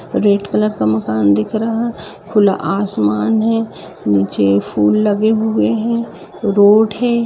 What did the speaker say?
Red colour का मकान दिख रहा खुला आसमान है नीचे फूल लगे हुए है रोड है।